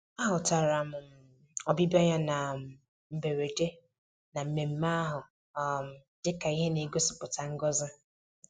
A hụtara um ọbịbịa ya na um mberede na mmemmé ahụ um dị ka ihe na-egosipụta ngọzi